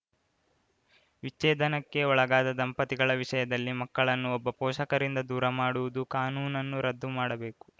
ವಿಚ್ಛೇದನಕ್ಕೆ ಒಳಗಾದ ದಂಪತಿಗಳ ವಿಷಯದಲ್ಲಿ ಮಕ್ಕಳನ್ನು ಒಬ್ಬ ಪೋಷಕರಿಂದ ದೂರ ಮಾಡುವುದು ಕಾನೂನನ್ನು ರದ್ದು ಮಾಡಬೇಕು